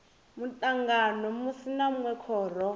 mutangano munwe na munwe khoro